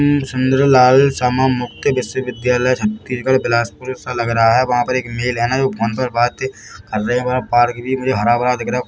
पं. सुंदर लाल शर्मा मुक्ति विश्वविद्यालय छत्तीसगढ़ बिलासपुर सा लगरा है वहाँ पर एक मेल है ना जो फोन पर बात कर रहे है और पार्क भी मुझे हरा -भरा दिख रा हैं।